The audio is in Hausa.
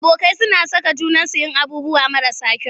Abokai suna saka junansu yin abubuwan marasa kyau.